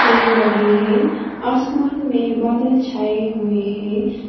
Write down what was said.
पेड़ लगे है आसमान में बादल छाए हुए हैं।